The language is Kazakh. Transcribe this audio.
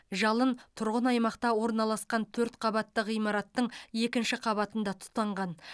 жалын тұрғын аймақта орналасқан төрт қабатты ғимараттың екінші қабатында тұтанған